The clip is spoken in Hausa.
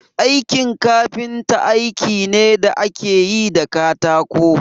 Aikin kafinta aiki ne da ake yi da katako